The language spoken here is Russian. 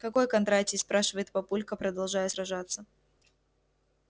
какой кондратий спрашивает папулька продолжая сражаться